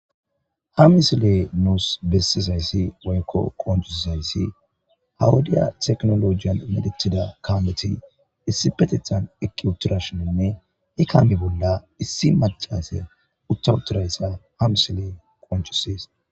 Ha misiley nuusi besiizayssi woykko qoncisiizayssi ha wodiya tekinolojjiyan medhdhetiida kametti issippeteththan eqqi utiirashshininne he kaame bolla issi macassiya utta uttidayssa ha misiiley qoncissees